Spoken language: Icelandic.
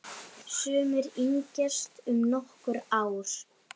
Sumir yngjast um nokkur ár.